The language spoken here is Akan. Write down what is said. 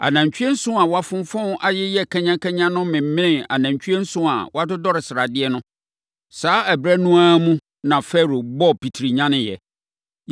Anantwie nson a wɔafonfɔn ayeyɛ kanyakanya no memenee anantwie nson a wɔadodɔre sradeɛ no! Saa ɛberɛ no ara mu na Farao bɔɔ pitiri nyaneeɛ!